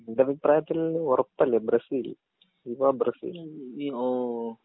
ഇന്റൊരു അഭിപ്രായത്തിൽ ഒറപ്പല്ലേ ബ്രസീൽ വിവ ബ്രസീൽ വിവാ